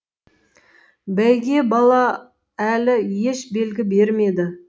бәйге бала әлі еш белгі бермеді